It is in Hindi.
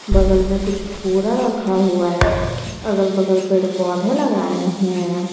बगल में कुछ पुअरा रखा हुआ है अगल बगल पेड़ पौधे लगाए हुए हैं।